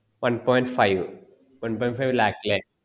one point five one point five lakh ലെ